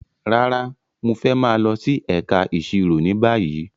Rárá, Mo fẹ maa lọ si ẹka iṣiro ni bayi